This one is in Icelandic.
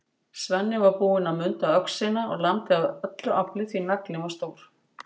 Svenni var búinn að munda öxina og lamdi af öllu afli, því naglinn var stór.